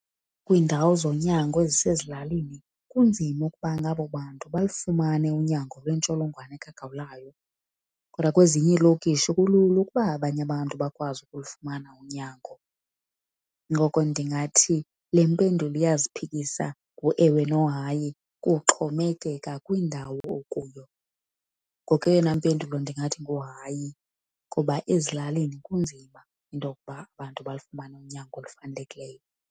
Kwiindawo zonyango ezisezilalini kunzima ukuba nabo bantu balufumane unyango lwentsholongwane kagawulayo, kodwa kwezinye iilokishi kulula ukuba abanye abantu bakwazi ukulufumana unyango. Ngoko ndingathi le mpendulo iyaziphikisa ngoewe nohayi, kuxhomekeka kwindawo okuyo. Ngoko eyona mpendulo ndingathi nguhayi ngoba ezilalini kunzima into yokuba abantu balufumane unyango olufanelekileyo.